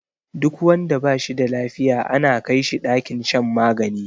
Duk wanda bashi da lafiya ana kai shi ɗakin shan magani